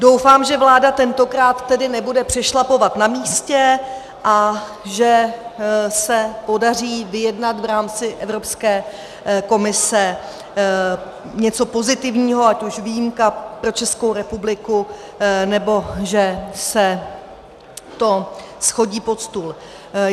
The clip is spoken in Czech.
Doufám, že vláda tentokrát tedy nebude přešlapovat na místě a že se podaří vyjednat v rámci Evropské komise něco pozitivního, ať už výjimka pro Českou republiku, nebo že se to shodí pod stůl.